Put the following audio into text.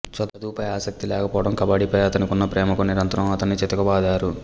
చదువులపై ఆసక్తి లేకపోవడం కబడ్డీపై అతనికున్న ప్రేమకు నిరంతరం అతన్ని చితకబాదారు